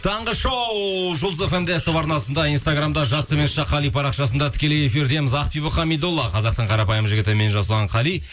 таңғы шоу жұлдыз фм де ств арнасында инстаграмда жас қали парақшасында тікелей эфирдеміз ақбибі хамидолла қазақтың қарапайым жігіті мен жасұлан қали